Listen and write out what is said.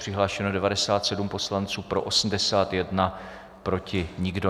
Přihlášeno 97 poslanců, pro 81, proti nikdo.